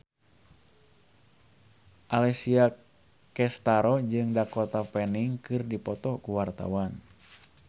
Alessia Cestaro jeung Dakota Fanning keur dipoto ku wartawan